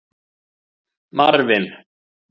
Marvin